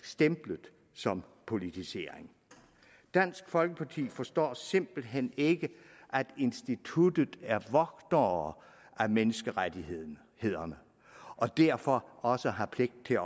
stemplet som politisering dansk folkeparti forstår simpelt hen ikke at instituttet er vogtere af menneskerettighederne og derfor også har pligt til